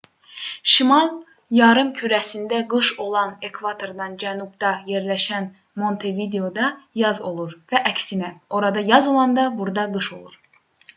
şimal yarımkürəsində qış olanda ekvatordan cənubda yerləşən montevideoda yaz olur və əksinə orada yaz olanda burada qış olur